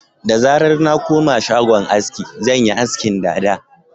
Da zarar na koma shagon aski, zan yi askin dada